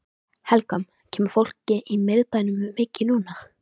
Helga: Kemur fólki í miðbæinn mikið núna?